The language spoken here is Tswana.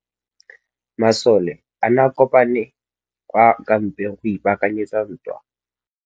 Masole a ne a kopane kwa kampeng go ipaakanyetsa ntwa.